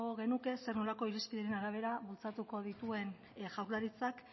genuke zer nolako irizpideen arabera bultzatuko dituen jaurlaritzak